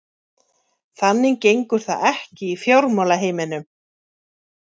Þannig gengur það ekki í fjármálaheiminum.